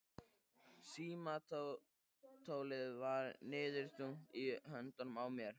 Símtólið var níðþungt í höndunum á mér.